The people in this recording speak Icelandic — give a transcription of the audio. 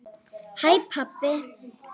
HÆ PABBI!